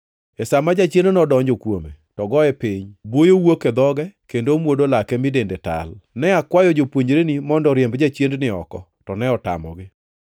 E sa ma jachiendno donjo kuome to goye piny, buoyo wuok e dhoge, kendo omuodo lake mi dende tal. Ne akwayo jopuonjreni mondo oriemb jachiendni oko to ne otamogi.”